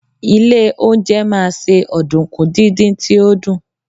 ilé oúnjẹ ma se ọdunkun didin ti o dun